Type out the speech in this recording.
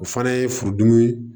O fana ye furudimi